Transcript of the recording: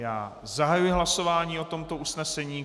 Já zahajuji hlasování o tomto usnesení.